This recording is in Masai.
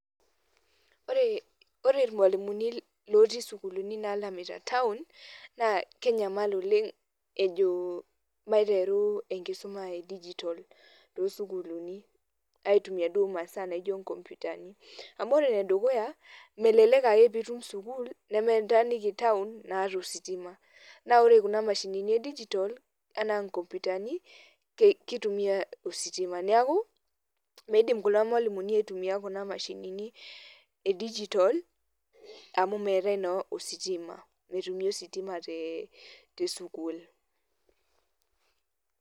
Ore irmalimuni lotii sukulini nalamita taon, naa kenyamal oleng ejo maiteru enkisuma edijitol tosukuulini aitumia duo masaa naijo nkompitani. Amu ore enedukuya, melelek ake pitum sukuul, nemetaaniki taon, naata ositima. Na ore kuna mashinini edijitol, enaa nkompitani, kitumia ositima. Neeku, meidim kulo malimuni aitumia kuna mashinini edijitol, amu meetae naa ositima. Metumi ositima te tesukuul.